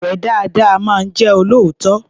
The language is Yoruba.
Ọ̀rẹ́ dáadáa máa jẹ́ olóòótọ́.